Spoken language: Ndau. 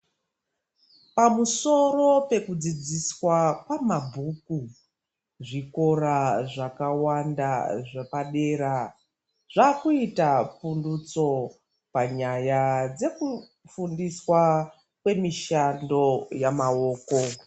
Pamusoro pekudzidziswa kwamabhuku, zvikora zvakawanda zvapadera zvaakuita pfundutso panyaya dzekufundiswa kwemishando yamaoko.